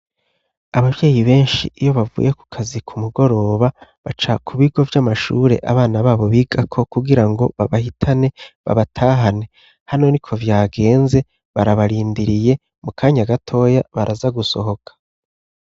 Abavyeyi benshi iyo bavuye ku kazi ku mugoroba baca ku bigo vy'amashure abana babo bigako kugira ngo babahitane babatahane hano ni ko vyagenze barabarindiriye mu kanya gatoya baraza gusohoka.